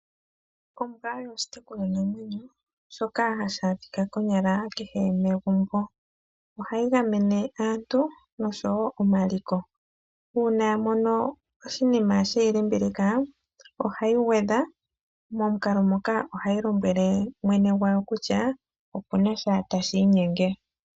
Ombwa oyo oshitekulwanamwenyo shoka hashi adhika konyala kehe megumbo, ohayi gamene aantu nosho wo omaliko. uuna ya mono oshiima she yi limbililika oha yi gwedha, momukalo moka oha yi lombwele mwene gwayo kutya opu na sha tashi inyenge.